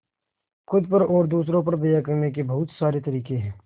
खुद पर और दूसरों पर दया करने के बहुत सारे तरीके हैं